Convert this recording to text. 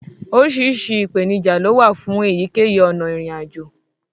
Oríṣiríṣi ìpèníjà lówà fún èyíkéyìí ọna ìrìn àjò.